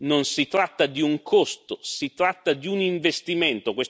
Non si tratta di un costo, si tratta di un investimento.